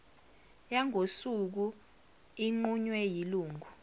yangosuku inqunywe yilungu